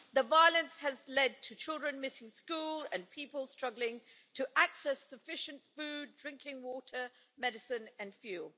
The violence has led to children missing school and people struggling to access sufficient food, drinking water, medicine and fuel.